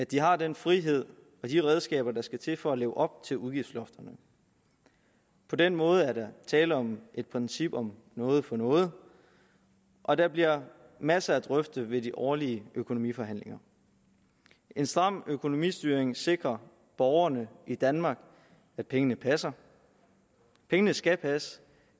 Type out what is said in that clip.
de har den frihed og de redskaber der skal til for at leve op til udgiftsloftet på den måde er der tale om princippet noget for noget og der bliver masser at drøfte ved de årlige økonomiforhandlinger en stram økonomistyring sikrer borgerne i danmark at pengene passer pengene skal passe